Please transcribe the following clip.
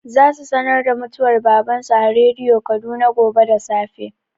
Za su sanar da mutuwar baban su a rediyo Kaduna gobe da safe.